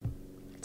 TV 2